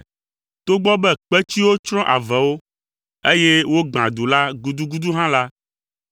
Togbɔ be kpetsiwo tsrɔ̃ avewo, eye wogbã du la gudugudu hã la,